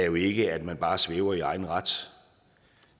jo ikke er at man bare svæver i egen ret